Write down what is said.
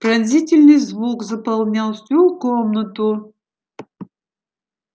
пронзительный звук заполнял всю комнату